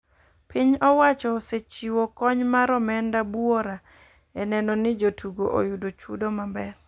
Piny owacho osechiwo kony mar omenda buora e neno ni jotugo oyudo chudo maber